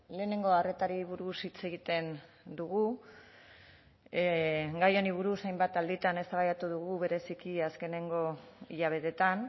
lehenengo arretari buruz hitz egiten dugu gai honi buruz hainbat alditan eztabaidatu dugu bereziki azkenengo hilabeteetan